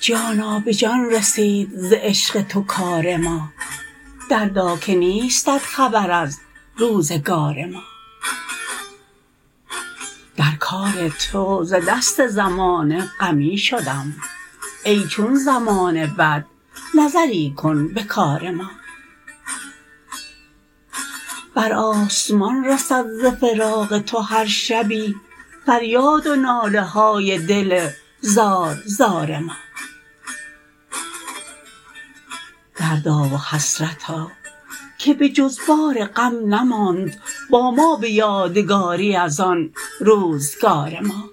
جانا به جان رسید ز عشق تو کار ما دردا که نیستت خبر از روزگار ما در کار تو ز دست زمانه غمی شدم ای چون زمانه بد نظری کن به کار ما بر آسمان رسد ز فراق تو هر شبی فریاد و ناله های دل زار زار ما دردا و حسرتا که به جز بار غم نماند با ما به یادگاری از آن روزگار ما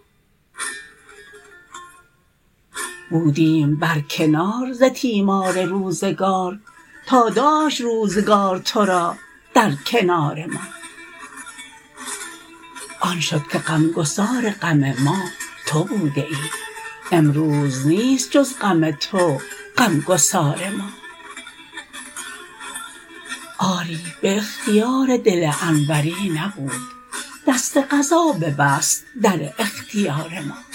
بودیم بر کنار ز تیمار روزگار تا داشت روزگار ترا در کنار ما آن شد که غمگسار غم ما تو بوده ای امروز نیست جز غم تو غمگسار ما آری به اختیار دل انوری نبود دست قضا ببست در اختیار ما